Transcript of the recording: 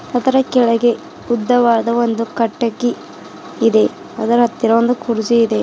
ಅದರ ಕೆಳಗೆ ಒಂದು ಉದ್ದವಾದ ಒಂದು ಕಟಿಕ್ಕೆ ಇದೆ ಅದರ ಹತ್ತಿರ ಒಂದು ಕುರ್ಚಿ ಇದೆ.